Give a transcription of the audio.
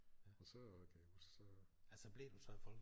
Og så kan jeg huske så